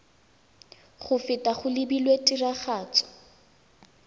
go feta go lebilwe tiragatso